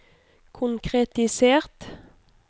konkretisert